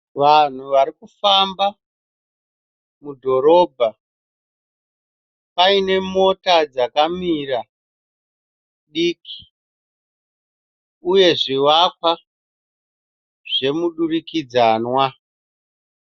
Vanhu varikufamba mudhorobha, paine mota dzakamira diki uye zvivakwa zvemudurikidzanwa.